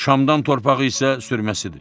Şamdan torpağı isə sürməsidir.